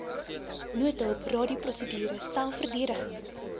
noodhulp radioprosedure selfverdediging